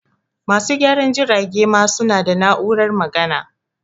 Masu gyaran jirage ma su na da na'urar magana